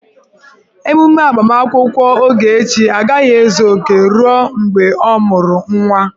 Emume agbamakwụkwọ Ogechi agaghị ezu oke ruo mgbe ọ mụru nwa